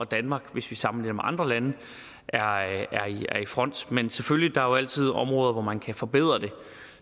danmark hvis vi sammenligner med andre lande er i front men selvfølgelig altid områder hvor man kan forbedre det